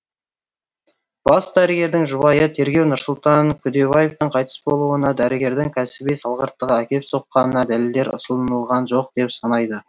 бас дәрігердің жұбайы тергеу нұрсұлтан күдебаевтың қайтыс болуына дәрігердің кәсіби салғырттығы әкеп соққанына дәлелдер ұсынылған жоқ деп санайды